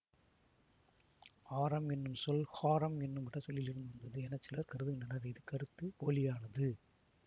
ஆரம் என்னும் சொல் ஹாரம் என்னும் வடசொல்லிலிருந்து வந்தது என சிலர் கருதுகின்றனர் இது கருத்து போலியானது